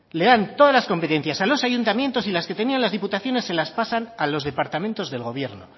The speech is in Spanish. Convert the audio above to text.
le dan todas las competencias a los ayuntamientos y las que tenían las diputaciones se las pasan a los departamentos del gobierno